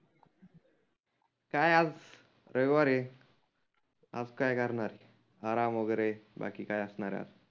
काय आज रविवार आहे. आज काय करणार आराम वगैरे बाकी काय असणार आहे आज?